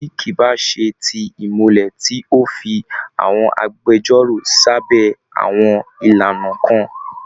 Bí kì í bá ṣe ti ìmùlẹ̀ tí ó fi àwọn agbẹjọ́rò sábẹ́ àwọn ìlànà kan